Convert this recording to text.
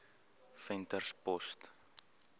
venterspost